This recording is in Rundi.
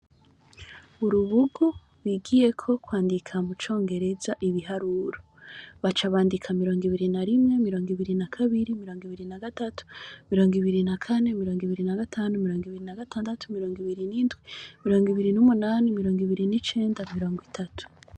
Urubugu bigiyeko kwandika mucongereza ibiharuro. Baca bandika mirongo ibiri n'umwe, mirongo ibiri na kabiri, mirongo ibiri na gatatu, mirongo ibiri na kane, mirongo ibiri na gatanu, mirongo ibiri na gatandatu, mirongo ibiri n'indwi, mirongo ibiri n'umunani, mirongo ibiri n'icenda, mirongo itatu.